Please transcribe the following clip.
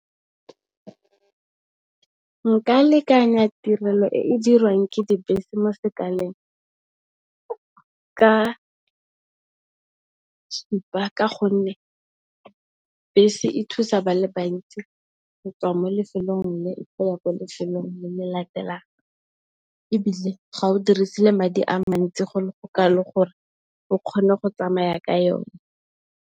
Nka lekanya tirelo e e dirwang ke dibese mo sekaleng ka thipa. Ka gonne, bese e thusa ba le bantsi go tswa mo lefelong le lengwe go ya ko lefelong le le latelang ebile, ga o dirisi le madi a mantsi go le go kalo gore o kgone go tsamaya ka yone.